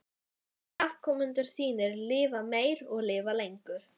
Megi afkomendur þínir lifa meir og lifa lengur.